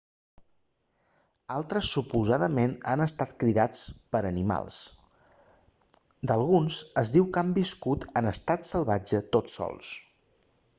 altres suposadament han estat criats per animals d'alguns es diu que han viscut en estat salvatge tots sols